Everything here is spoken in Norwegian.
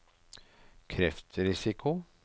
kreftrisiko